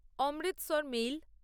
Amritsar mail